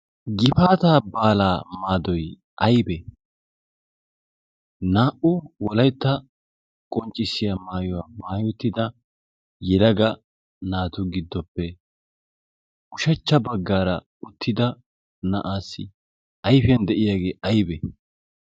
gifaata baalaa maadoy aibee naa'u wolaytta qonccissiya maayuwaa maayottida yilaga naatu giddoppe ushachcha baggaara uttida na'aassi ayfiyan de'iyaagee aybee